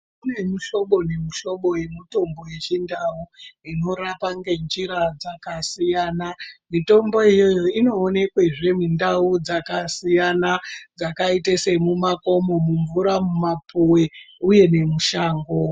Kune muhlobo nemuhlobo yemutombo yeChiNdau unorapa ngenjira dzakasiyana. Mitombo iyoyoyo inoonekwezve mundau dzakasiyana dzakaite semumakomo, mumvura, mumapuwe uye nemushango.